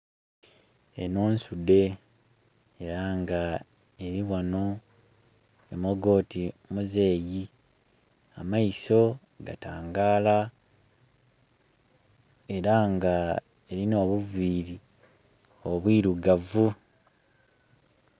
Eno nsudhe era nga eli ghano emoga oti muzeeyi, ameiso gatangala era nga erina obuviri obwirugavu.